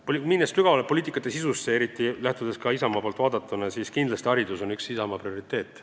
Kui eriti Isamaa poolt vaadatuna sügavamale poliitika sisusse minna, siis on kindlasti haridus üks prioriteet.